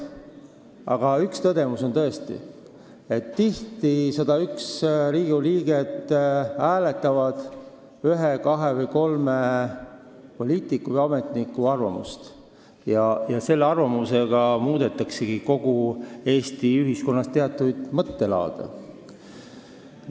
Aga üks tõdemus on tõesti see, et tihti hääletavad 101 Riigikogu liiget ühe, kahe või kolme poliitiku või ametniku arvamust ja sellega muudetaksegi Eesti ühiskonnas teatud mõttelaade.